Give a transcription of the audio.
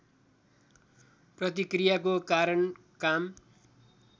प्रतिक्रियाको कारण काम